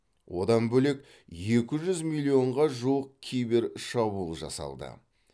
одан бөлек екі жүз миллионға жуық кибершабуыл жасалды